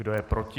Kdo je proti?